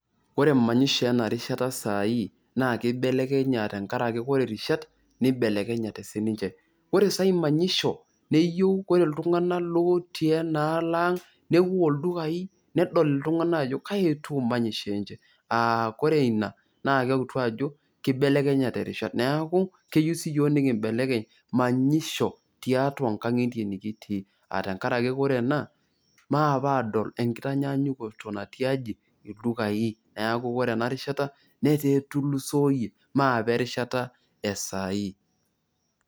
Ore manyisho ena rishata saai naa keibelekenya tenkarake ore rishat neibelekenyate sii ninche. Ore saai manyisho neyieu kore iltung'anak lotii ena alo eang', newuo ildukai, nedol iltung'anak ajo kaji etiu manyisho enche. Kore ina naa keutu ajo keibelekenyate rishat, neeku keyieu sii yiok nikimbelekeny manyisho tiatua nkang'itie nikitii, aa tenkarake kore ena, maape adol enkitanyaanyukoto natii aji? ildukai, neeku kore enarishata netaa etulusoyie, maape erishata esaai.